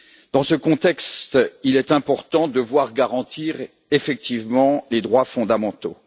Dans ce contexte, il est important de voir garantir effectivement les droits fondamentaux.